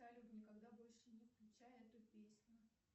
салют никогда больше не включай эту песню